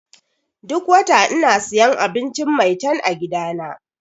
Duk wata ina siyan abinci 'Maitan' a gidana.